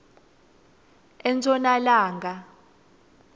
enshonalanga